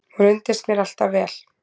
Hún reyndist mér alltaf vel.